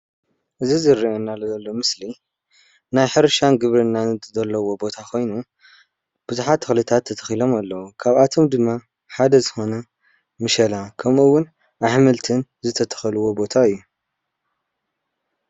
እዚ ዝረኣየና ዘሎ ምስሊ ናይ ሕርሻን ግብርናን ዘለዎ ቦታ ኮይኑ ብዙሓት ተክልታት ተተኪሎም ኣለው። ካብኦቶም ድማ ሓደ ዝኮነ ምሸላ ከምኡውን ኣሕምልቲን ዝተተከልዎ ቦታ እዩ።